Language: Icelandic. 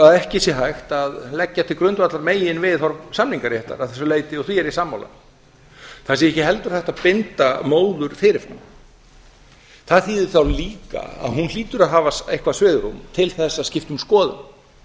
að ekki sé hægt að leggja til grundvallar meginviðhorf samningsréttar að þessu leyti og því er ég sammála það sé ekki heldur hægt að binda móður fyrir fram það þýðir þá líka að hún hlýtur að hafa eitthvert svigrúm til þess að skipta um skoðun